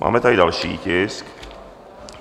Máme tady další tisk